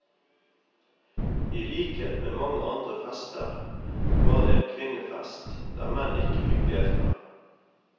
I likhet med mange andre fester, var det en kvinnefest, der menn ikke fikk delta.